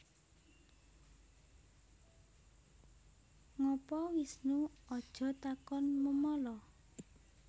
Ngapa Wisnu Aja takon memala